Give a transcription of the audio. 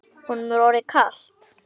Honum er orðið kalt.